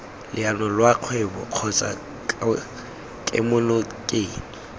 leano lwa kgwebo kgotsa kemonokeng